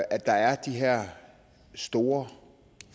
at der er de her store